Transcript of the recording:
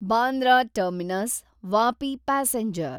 Bandra terminus Vapi passenger